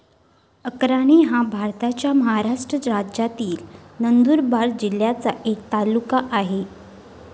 अक्राणी हा भारताच्या महाराष्ट्र राज्यातील नंदुरबार जिल्ह्याचा एक तालुका आहे.